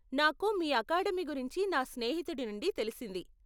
నాకు మీ అకాడమీ గురించి నా స్నేహితుడి నుండి తెలిసింది.